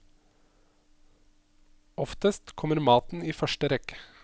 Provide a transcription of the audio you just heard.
Oftest kommer maten i første rekke.